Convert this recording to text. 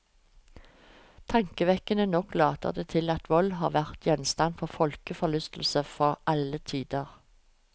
Tankevekkende nok later det til at vold har vært gjenstand for folkeforlystelse til alle tider.